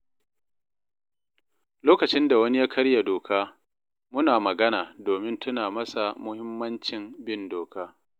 Lokacin da wani ya karya doka, muna magana domin tuna masa muhimmancin bin doka.